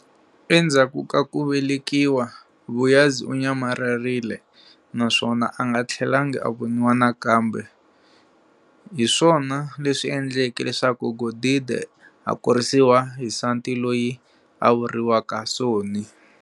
Endzhaku ka kuvelekiwa, Vuyazi unyamalarile naswona anga thlelanga a voniwa nakambe, hiswona leswi endleke leswaku Godide a kurisiwa hi nsati loyi a vuriwaka Soni.